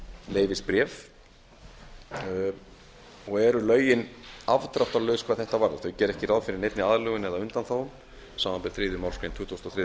leyfisbréf og eru lögin afdráttarlaus hvað þetta varðar þau gera ekki ráð fyrir neinni aðlögun eða undanþágum samanber tuttugustu og þriðju málsgrein tuttugustu og